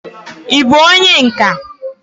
ị bụ onye nka?